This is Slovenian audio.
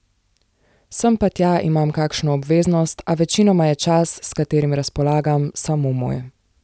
Sem pa tja imam kakšno obveznost, a večinoma je čas, s katerim razpolagam, samo moj.